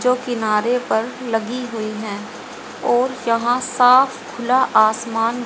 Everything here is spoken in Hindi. जो किनारे पर लगी हुई है और यहां साफ खुला आसमान--